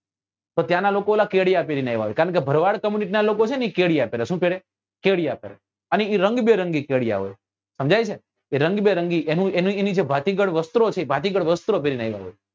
તો ત્યાં નાં લોકો ઓલા કેડિયા પેરી ને આવે કારણ કે ભરવાડ કમીજ નાં લોકો છે ને એ કેડિયા પેરે શું પેરે કેડિયા પેરે અને એ રંગબેરંગી કેડિયા હોય સમજાય છે એ રંગબેરંગી એનું એની એની જે ભાતીગળ વસ્ત્રો છે એ ભાતીગળ વસ્ત્રો પેરી ને અહી આવે